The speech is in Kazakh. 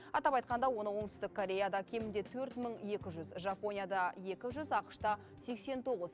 атап айтқанда оңтүстік кореяда кемінде төрт мың екі жүз жапонияда екі жүз ақш та сексен тоғыз